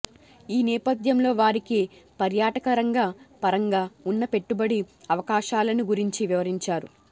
ఈ నేపధ్యంలో వారికి పర్యాటకరంగ పరంగా ఉన్న పెట్టుబడి అవకాశాలను గురించి వివరించారు